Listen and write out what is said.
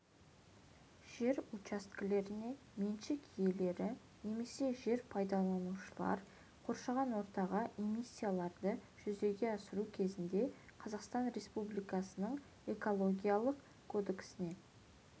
жер учаскелеріне меншік иелері немесе жер пайдаланушылар қоршаған ортаға эмиссияларды жүзеге асыру кезінде қазақстан республикасының экологиялық кодексіне